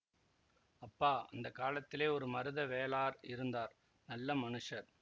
அப்பா அந்த காலத்திலே ஒரு மருத வேளார் இருந்தார் நல்ல மனுஷர்